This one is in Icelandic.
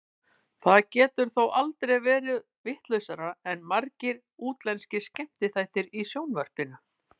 Það getur þó aldrei orðið vitlausara en margir útlenskir skemmtiþættir í sjónvarpinu.